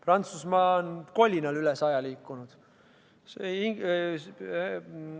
Prantsusmaa on kolinal üle 100% liikunud.